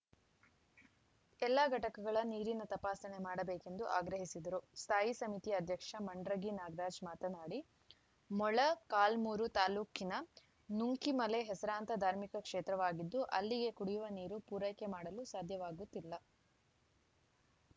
ಎಲ್ಲ ಘಟಕಗಳ ನೀರಿನ ತಪಾಸಣೆ ಮಾಡಬೇಕೆಂದು ಆಗ್ರಹಿಸಿದರು ಸ್ಥಾಯಿ ಸಮಿತಿ ಅಧ್ಯಕ್ಷ ಮಂಡ್ರಗಿ ನಾಗರಾಜ್‌ ಮಾತನಾಡಿ ಮೊಳಕಾಲ್ಮುರು ತಾಲೂಕಿನ ನುಂಕಿಮಲೆ ಹೆಸರಾಂತ ಧಾರ್ಮಿಕ ಕ್ಷೇತ್ರವಾಗಿದ್ದು ಅಲ್ಲಿಗೆ ಕುಡಿಯುವ ನೀರು ಪೂರೈಕೆ ಮಾಡಲು ಸಾಧ್ಯವಾಗುತ್ತಿಲ್ಲ